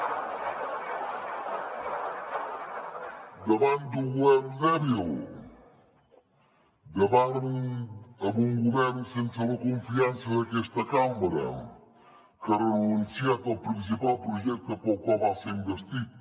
davant d’un govern dèbil davant un govern sense la confiança d’aquesta cambra que ha renunciat al principal projecte pel qual va ser investit